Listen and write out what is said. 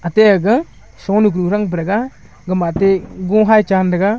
ate aga shonu gurang praraga gama ate go hy chan tega.